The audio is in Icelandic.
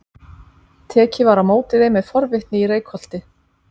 Tekið var á móti þeim með forvitni í Reykholti.